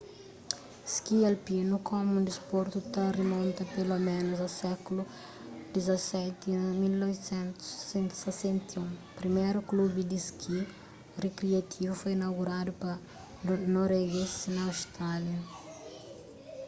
ski alpinu komu un disportu ta rimonta peloménus a sékulu xvii y na 1861 priméru klubi di ski rikriativu foi inauguradu pa norueguezis na austrália